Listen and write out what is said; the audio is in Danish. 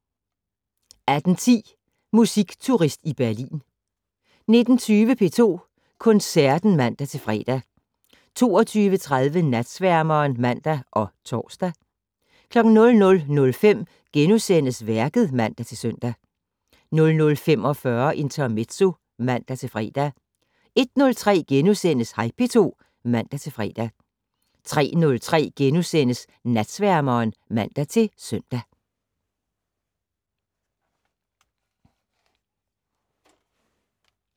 18:10: Musikturist i Berlin 19:20: P2 Koncerten (man-fre) 22:30: Natsværmeren (man og tor) 00:05: Værket *(man-søn) 00:45: Intermezzo (man-fre) 01:03: Hej P2 *(man-fre) 03:03: Natsværmeren *(man-søn)